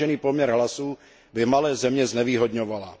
vážený poměr hlasů by malé země znevýhodňovala.